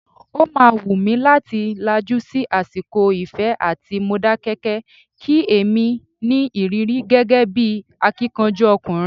O máa wù mí láti lajú sí àsìkò Ifẹ̀ àti Modákẹ́kẹ́, kí èmi ní ìrírí gẹ́gẹ́ bí akíkanjú ọkùnrin.